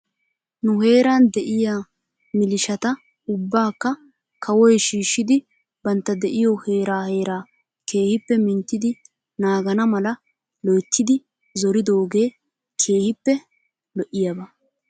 Nu heeran de'iyaa milishata ubbaakka kawoy shiishshidi bantta de'iyoo heeraa heeraa keehippe minttidi naagana mala loyttidi zoridoogee keehippe lo'iyaaba .